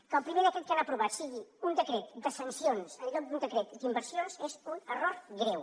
que el primer decret que han aprovat sigui un decret de sancions en lloc d’un decret d’inversions és un error greu